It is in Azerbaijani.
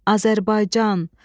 Azərbaycan!